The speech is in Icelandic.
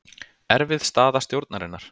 Erfið staða stjórnarinnar